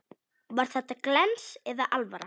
Var þetta glens eða alvara?